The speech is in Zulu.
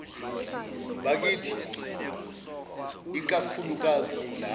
bakithi ikakhulukazi labo